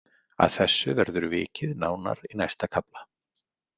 Að þessu verður vikið nánar í næsta kafla.